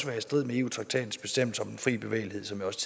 være i strid med eu traktatens bestemmelse om den fri bevægelighed som jeg også